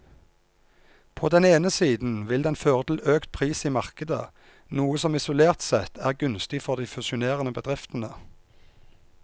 På den ene siden vil den føre til økt pris i markedet, noe som isolert sett er gunstig for de fusjonerende bedriftene.